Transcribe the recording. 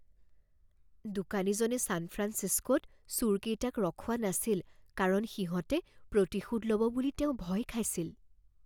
দোকানীজনে ছান ফ্ৰাঞ্চিস্কোত চোৰকেইটাক ৰখোৱা নাছিল কাৰণ সিহঁতে প্ৰতিশোধ ল'ব বুলি তেওঁ ভয় খাইছিল।